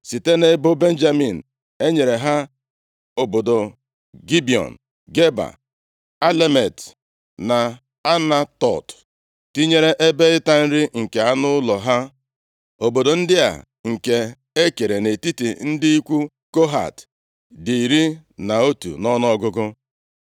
Site nʼebo Benjamin e nyere ha obodo Gibiọn, Geba, Alemet, na Anatot, tinyere ebe ịta nri nke anụ ụlọ ha. Obodo ndị a, nke e kere nʼetiti ndị ikwu Kohat, dị iri na otu nʼọnụọgụgụ.